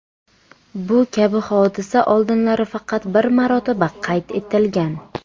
Bu kabi hodisa oldinlari faqat bir marotaba qayd etilgan.